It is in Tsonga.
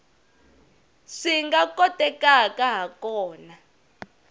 swi nga kotekaka ha kona